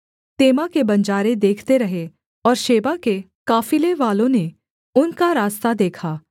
तेमा के बंजारे देखते रहे और शेबा के काफिलेवालों ने उनका रास्ता देखा